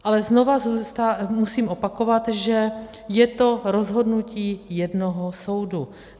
Ale znovu musím opakovat, že je to rozhodnutí jednoho soudu.